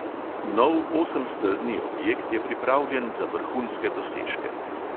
Nov osemstezni objekt je pripravljen za vrhunske dosežke.